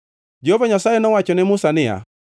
Jehova Nyasaye nowacho ne Musa niya,